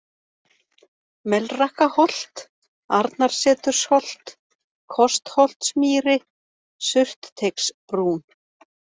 Melrakkaholt, Arnarsetursholt, Kostholtsmýri, Surtteigsbrún